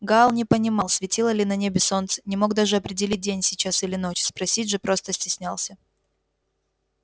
гаал не понимал светило ли на небе солнце не мог даже определить день сейчас или ночь спросить же просто стеснялся